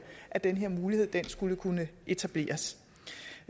at den her mulighed skulle kunne etableres